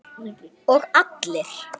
Og allir?